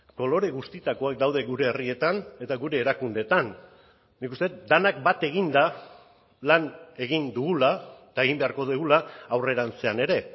kolore guztietakoak daude gure herrietan eta gure erakundeetan nik uste dut denak bat eginda lan egin dugula eta egin beharko dugula aurrerantzean ere